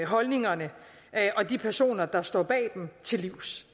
holdningerne og de personer der står bag dem til livs